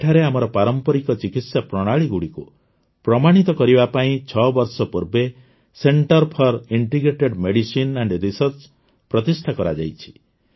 ଏଠାରେ ଆମର ପାରମ୍ପରିକ ଚିକିତ୍ସା ପ୍ରଣାଳୀଗୁଡ଼ିକୁ ପ୍ରମାଣିତ କରିବା ପାଇଁ ୬ ବର୍ଷ ପୂର୍ବେ centre for integrative medicine and research ପ୍ରତିଷ୍ଠା କରାଯାଇଛି